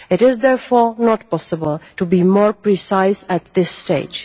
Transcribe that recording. It is therefore not possible to be more precise at this stage.